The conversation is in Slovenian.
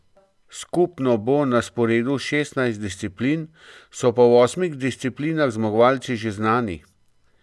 Skupno bo na sporedu šestnajst disciplin, so pa v osmih disciplinah zmagovalci že znani.